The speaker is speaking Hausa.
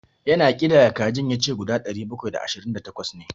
Ya na ƙidaya kajin, ya ce guda ɗari bakwai da ashirin da takwas ne.